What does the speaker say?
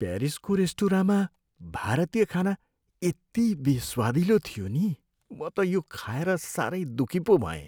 प्यारिसको रेस्टुराँमा भारतीय खाना यति बेस्वादिलो थियो नि म त यो खाएर सारै दुखी पो भएँ।